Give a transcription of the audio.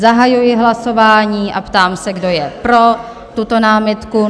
Zahajuji hlasování a ptám se, kdo je pro tuto námitku?